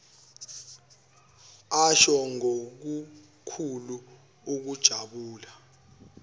asho ngokukhulu ukujabula